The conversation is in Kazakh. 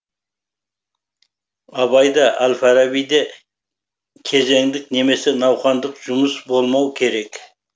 абай да әл фараби де кезеңдік немесе науқандық жұмыс болмау керек